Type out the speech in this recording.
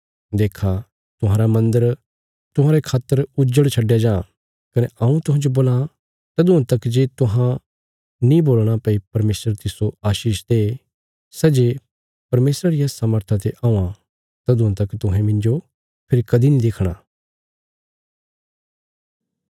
देक्खा तुहांरा मन्दर तुहांरे खातर उजड़ छडया जां कने हऊँ तुहांजो बोल्लां तदुआं तक जे तुहां नीं बोलणा भई परमेशर तिस्सो आशीष दे सै जे परमेशरा रिया सामर्था ते औंआं तदुआं तक तुहें मिन्जो फेरी कदीं नीं देखणा